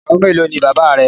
Ìyàwó mélòó ni Baba rẹ?.